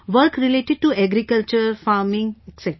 Work related to agriculture, farming etc